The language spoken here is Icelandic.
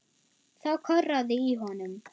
Þá korraði í honum.